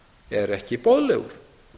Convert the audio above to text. er ekki boðlegur